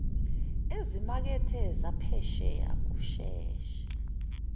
ezimakethe zaphesheya kusheshe